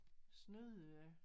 Snyde